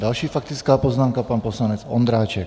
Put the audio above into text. Další faktická poznámka - pan poslanec Ondráček.